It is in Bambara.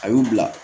A y'u bila